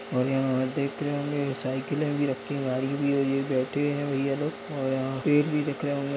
और यहाँ देख रहे होंगे साइकिलों भी रखी है वायरिंग भी हो रही है बैठे हैं ये भैया लोग और यहाँ पेड़ भी दिख रहें होंगे।